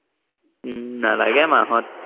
উম নালাগে মাহত